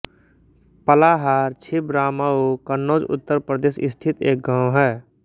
पलाहार छिबरामऊ कन्नौज उत्तर प्रदेश स्थित एक गाँव है